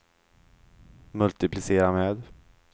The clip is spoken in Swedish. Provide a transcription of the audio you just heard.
multiplicera med